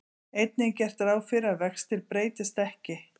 Einnig er gert ráð fyrir að vextir breytist ekki.